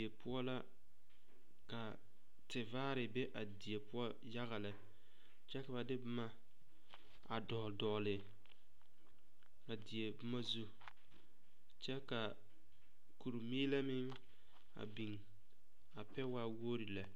Die poɔ ka tevaare be a die poɔ yaga lɛ kyɛ ka ba de boma a dɔgle dɔgle a die boma zu kyɛ ka kuri meelɛ meŋ a biŋ a pɛ waa wogre lɛ.